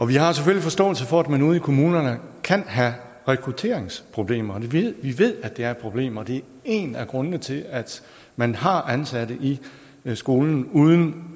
vi har selvfølgelig forståelse for at man ude i kommunerne kan have rekrutteringsproblemer vi ved at det er et problem og det er en af grundene til at man har ansatte i skolen uden